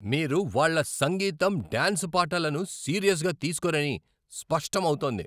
మీరు వాళ్ళ సంగీతం, డాన్స్ పాఠాలను సీరియస్గా తీస్కోరని స్పష్టం అవుతోంది.